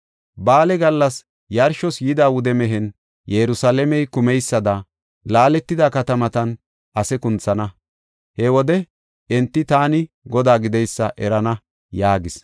Ba7aale gallas yarshos yida wude mehen Yerusalaamey kumeysada, laaletida katamatan ase kunthana. He wode enti taani Godaa gideysa erana” yaagis.